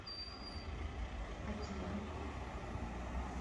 акира